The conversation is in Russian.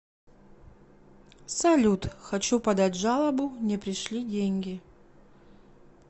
салют хочу подать жалобу не пришли деньги